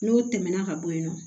N'o tɛmɛna ka bɔ yen nɔ